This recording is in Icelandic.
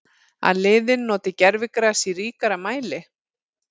Að liðin noti gervigras í ríkari mæli?